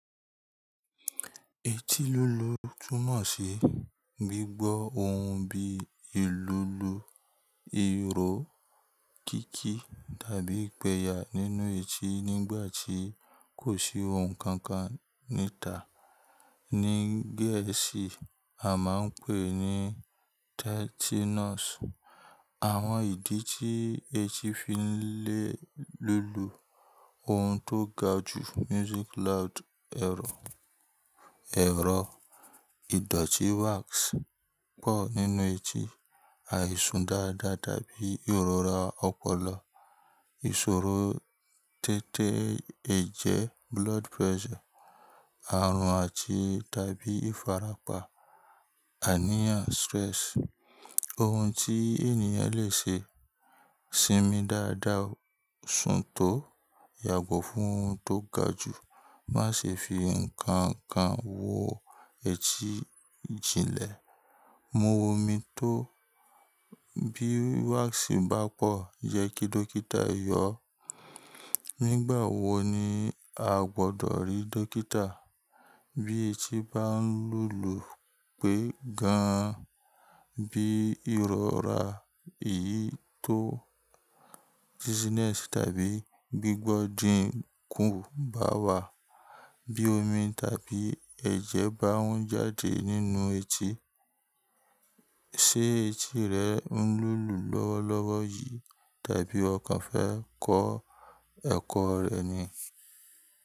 Etí lúlù túmọ̀ sí gbígbọ́ ohun bí i lúlù, irọ́, kíki tàbí ìpẹ̀yà nínú etí nígbà tí kò sí ohun kankan níta. Ní Gẹ̀ẹ́sì, a máa ń pè é ní Tinnitus. Àwọn ìdí tí etí fi ń lé lúlù, ohun tó ga ju ẹ̀rọ, ẹ̀rọ, ìdọ̀tí wax pọ̀ nínú etí, àìsùn dáadáa tàbí ìrora ọpọlọ, ìṣòro té́té ẹ̀jẹ̀ àrùn àti tàbí ìfarapa aniyan stress Ohun tí ènìyàn lè ṣe sinmi dáadáa, sún tó, yàgọ́ fún ohun tó ga jù, má ṣe fi nǹkan kan wo etí jinlẹ̀, mu omi tó, bí wax bá pọ̀, jẹ́ kí dókítà yọ ọ́. Nígbà wo ni a gbọdọ̀ rí dókítà? Bí etí bá ń lúlù pẹ́ gan-an, bí ìrora èyí tó tàbí gbígbọ́ dínkù bá wà, bí omi tàbí ẹ̀jẹ̀ bá ń jáde nínú etí. Ṣé etí rẹ ń lúlù lọ́wọ́ lọ́wọ́ yìí tàbí ọkàn fẹ́ kó ẹ̀kọ́ rẹ ni?